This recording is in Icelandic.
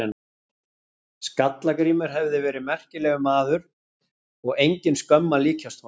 Skalla-Grímur hafi verið merkilegur maður og engin skömm að líkjast honum.